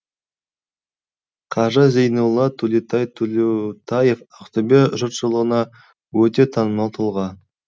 қажы зейнолла төлеутаев ақтөбе жұртшылығына өте танымал тұлға